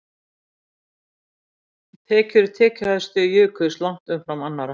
Tekjur tekjuhæstu jukust langt umfram annarra